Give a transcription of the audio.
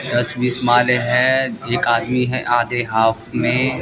दस बीस माले हैं एक आदमी है आधे हाफ में--